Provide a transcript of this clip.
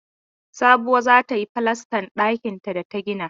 Sabuwa za ta yi falastan ɗakinta da ta gina.